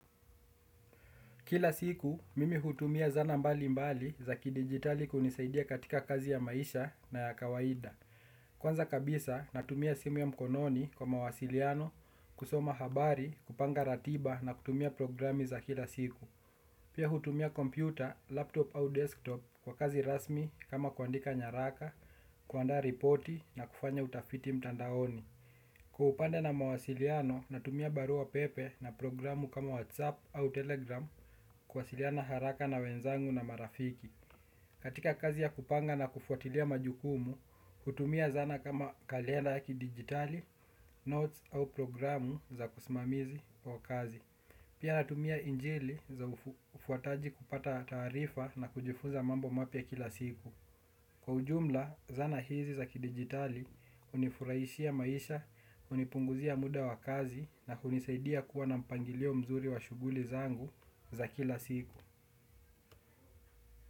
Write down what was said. Kila siku, mimi hutumia zanaa mbali mbali za kidijitali kunisaidia katika kazi ya maisha na ya kawaida. Kwanza kabisa, natumia simu ya mkononi kwa mawasiliano, kusoma habari, kupanga ratiba na kutumia programi za kila siku. Pia hutumia kompyuta, laptop au desktop kwa kazi rasmi kama kuandika nyaraka, kuandaa reporti na kufanya utafiti mtandaoni. Kwa upande na mawasiliano, natumia barua pepe na programu kama WhatsApp au Telegram kuwasiliana haraka na wenzangu na marafiki. Katika kazi ya kupanga na kufuatilia majukumu, hutumia zana kama kalenda ya kidijitali, notes au programu za kusmamizi kwa kazi. Pia natumia injili za ufuataji kupata taarifa na kujifunza mambo mapya kila siku. Kwa ujumla, zana hizi za kidigitali, hunifurahishia maisha, unipunguzia muda wa kazi na hunisaidia kuwa na mpangilio mzuri wa shughuli zangu za kila siku.